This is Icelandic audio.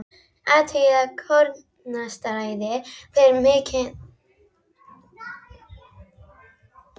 Athugið að kornastærðin fer minnkandi frá vinstri til hægri.